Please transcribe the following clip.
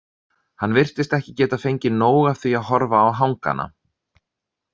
Hann virtist ekki geta fengið nóg af því að horfa á hangana.